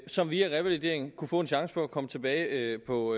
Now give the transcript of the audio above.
som via revalidering kunne få en chance for at komme tilbage på